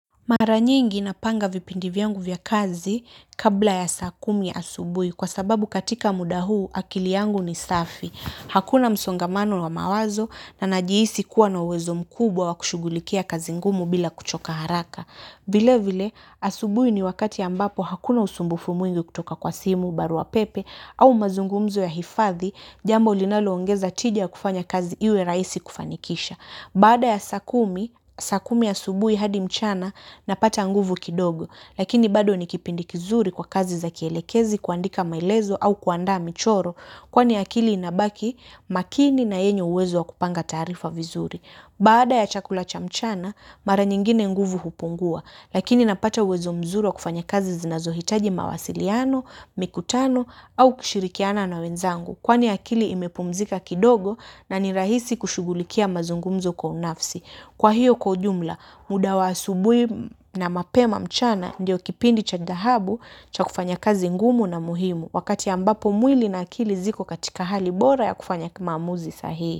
Mara nyingi napanga vipindi vyangu vya kazi kabla ya saa kumi asubui kwa sababu katika muda huu akili yangu ni safi. Hakuna msongamano wa mawazo na najiisi kuwa na uwezo mkubwa wa kushugulikia kazi ngumu bila kuchoka haraka. Vile vile asubui ni wakati ambapo hakuna usumbufu mwingi kutoka kwa simu barua pepe au mazungumzo ya hifadhi jambo linalo ongeza tija ya kufanya kazi iwe raisi kufanikisha. Baada ya saa kumi, saa kumi asubui hadi mchana napata nguvu kidogo, lakini bado ni kipindi kizuri kwa kazi za kielekezi kuandika maelezo au kuandaa michoro, kwani akili inabaki makini na yenye uwezo wa kupanga taarifa vizuri. Baada ya chakula cha mchana mara nyingine nguvu hupungua lakini napata uwezo mzuri wa kufanya kazi zinazohitaji mawasiliano, mikutano au kishirikiana na wenzangu kwani akili imepumzika kidogo na ni rahisi kushugulikia mazungumzo kwa unafsi. Kwa hiyo kwa ujumla muda wa asubui na mapema mchana ndio kipindi cha dhahabu cha kufanya kazi ngumu na muhimu wakati ambapo mwili na akili ziko katika hali bora ya kufanya kimamuzi sahii.